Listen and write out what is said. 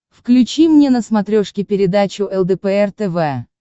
включи мне на смотрешке передачу лдпр тв